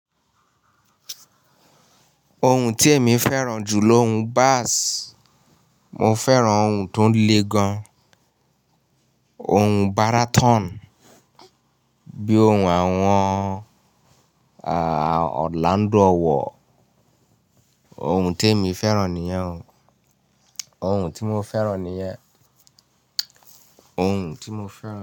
Ohun tí èmi fẹ́ràn jù lóhun bass, mo fẹ́ràn ohùn tó le gan, ohùn baraton bí i ohùn àwọn Orlando Owoh, ohùn tí èmi fẹ́ràn nìyẹn, ohùn tí mo fẹ́ràn nìyẹn, ohùn tí mo fẹ́ràn.